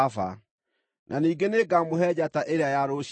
Na ningĩ nĩngamũhe njata ĩrĩa ya rũciinĩ.